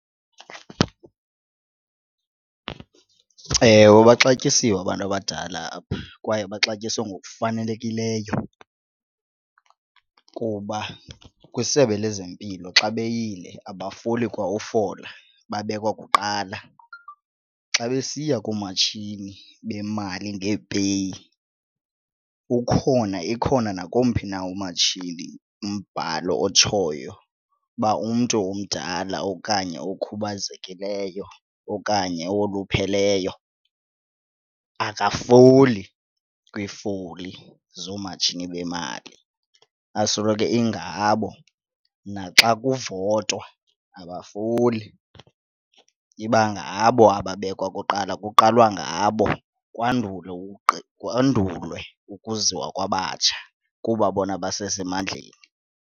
Ewe, baxatyisiwe abantu abadala apha kwaye baxatyiswe ngokufanelekileyo kuba kwisebe lezempilo xa beyile abafoli kwa ufola babekwa kuqala. Xa besiya koomatshini bemali ngeepeyi ukhona ikhona nakomphi na umatshini umbhalo otshoyo uba umntu omdala okanye okhubazekileyo okanye owolupheleyo akafoli kwiifoli zoomatshini bemali, yasoloko ingabo. Naxa kuvotwa abafoli iba ngabo ababekwa kuqala, kuqalwa ngabo kwandulwe ukuziwa kwabatsha kuba bona basesemandleni.